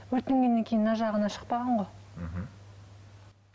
өтінгеннен кейін мына жағына шықпаған ғой мхм